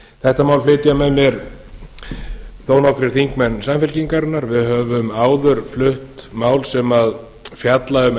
þetta mál flytja með mér þó nokkrir þingmenn samfylkingarinnar við höfum áður flutt mál sem fjalla um